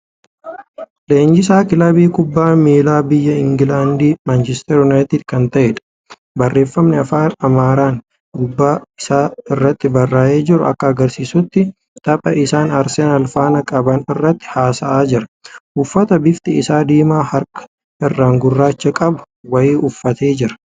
Leenjisaa kilabii kubbaa miilaa biyya Ingilaandi Manchistar Unaayitid kan ta'edha. Barreefami Afaan Amaaraan gubbaa isaa irratti barra'ee jiru akka agarsiisutti tapha isaan Arseenaal faana qaban irratti haasa'aa jira. Uffata bifti isaa diimaa harka irraan gurraacha qabu wayii uffatee jira.